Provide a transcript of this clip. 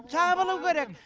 жабылу керек